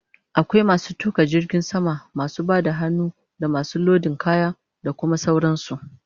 Akwai masu tuƙa jirgin sama, masu Bada hannu, damasu lodin kaya, da Kuma sauran su